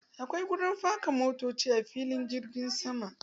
Akwai wuri faka motoci a filin jirgin sama.